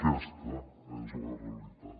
aquesta és la realitat